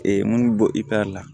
munnu bɔ i la